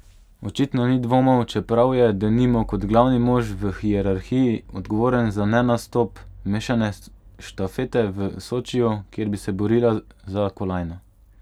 Očitno ni dvomov, čeprav je, denimo kot glavni mož v hierarhiji, odgovoren za nenastop mešane štafete v Sočiju, kjer bi se borila za kolajno.